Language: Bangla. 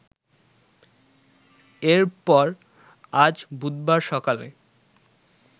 এরপর আজ বুধবার সকালে